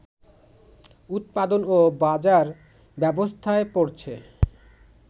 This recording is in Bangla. উৎপাদন ও বাজার ব্যবস্থায় পড়ছে